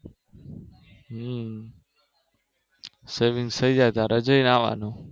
હમ Saving થયી જાય ત્યારે જઈ આવાનું